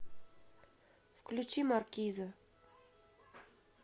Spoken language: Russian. включи маркиза